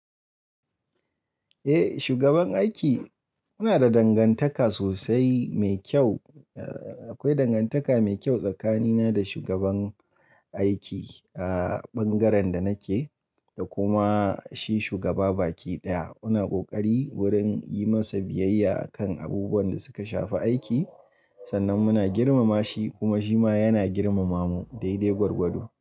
Eh shugaban aiki muna da dangantaka sosai mai kyau. Eh akwai dangantaka mai kyau tsakanina da shugaban aiki a bangaren da nake da kuma shi shugaba baki ɗaya muna kokari wurin yi masa biyayya akan abubuwan da suka shafi aiki sannan muna girmama shi kuma shi ma yana girmama mu. Dai dai gwargwado.